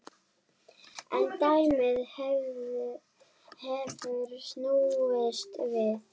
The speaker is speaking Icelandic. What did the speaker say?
En dæmið hefur snúist við.